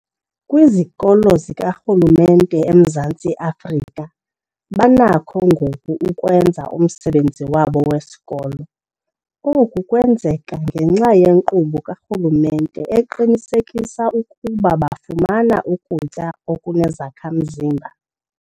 Kwizikolo zikarhulumente eMzantsi Afrika banakho ngoku ukwenza umsebenzi wabo wesikolo. Oku kwenzeka ngenxa yenkqubo karhulumente eqinisekisa ukuba bafumana ukutya okunezakha-mzimba.